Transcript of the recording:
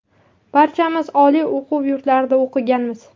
Barchamiz oliy o‘quv yurtlarida o‘qiganmiz.